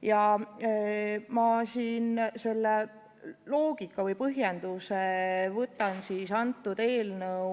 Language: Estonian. Ja loogika või põhjenduse võtan ma selle eelnõu